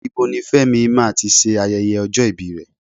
Ibo ni Fẹ́mi máa ti ṣe ayẹyẹ ọjọ́ ibi rẹ̀?